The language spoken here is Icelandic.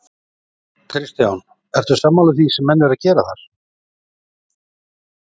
Kristján: Ertu sammála því sem menn eru að gera þar?